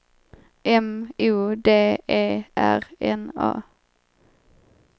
M O D E R N A